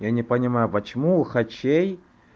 я не понимаю почему у хачей